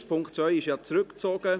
der Punkt 2 wurde ja zurückgezogen.